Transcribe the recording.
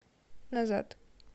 назад